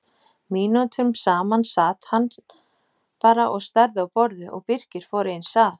Mínútum saman sat hann bara og starði á borðið og Birkir fór eins að.